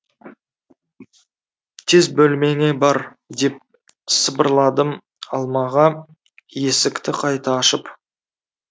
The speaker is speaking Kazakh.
тез бөлмеңе бар деп сыбырладым алмаға есікті қайта ашып